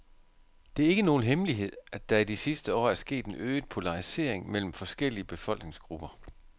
Det er ikke nogen hemmelighed, at der i de sidste år er sket en øget polarisering mellem forskellige befolkningsgrupper.